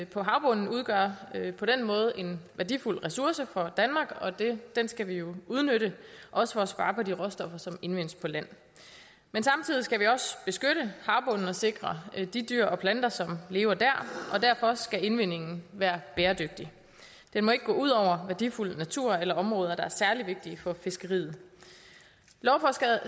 på havbunden udgør på den måde en værdifuld ressource for danmark og den skal vi jo udnytte også for at spare på de råstoffer som indvindes på land men samtidig skal vi også beskytte havbunden og sikre de dyr og planter som lever der og derfor skal indvindingen være bæredygtig den må ikke gå ud over værdifuld natur eller områder der er særlig vigtige for fiskeriet lovforslaget